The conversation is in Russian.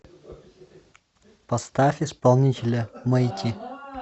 поставь исполнителя мэйти